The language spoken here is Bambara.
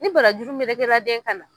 Ni barajuru melekela den kan na.